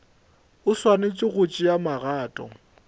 o swanetše go tšea magato